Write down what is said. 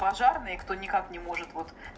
пожарные кто никак не может вот